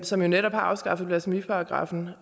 som jo netop har afskaffet blasfemiparagraffen